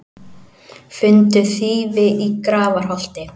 Fundu þýfi í Grafarholti